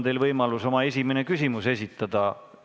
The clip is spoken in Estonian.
See võimalus on teil siis, kui teie nime mainitakse läbirääkimiste käigus.